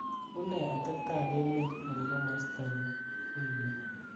une atebet ab emeet en komostonyun wigit ni